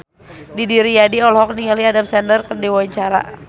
Didi Riyadi olohok ningali Adam Sandler keur diwawancara